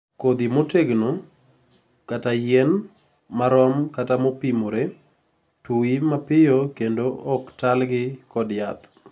kodhi motegno/yien; marom/mopimore ; tui mapiyo kendo ok tal gi kod jaath